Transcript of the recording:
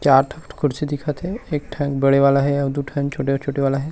चार ठो कुर्सी दिखथे एक ठ बड़े वाला हे अउ दू ठन छोटे-छोटे वाला--